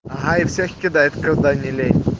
ага и всех кидает когда не лень